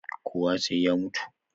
Kowa sai ya mutu